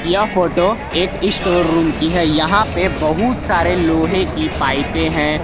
यह फोटो एक store room की है यहां पे बहुत सारे लोहे की पाइपें हैं।